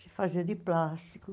Se fazia de plástico.